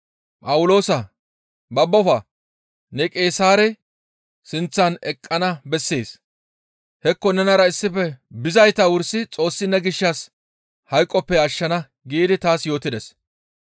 ‹Phawuloosaa! Babbofa! Ne Qeesaare sinththan eqqana bessees; hekko nenara issife bizayta wursi Xoossi ne gishshas hayqoppe ashshana› giidi taas yootides.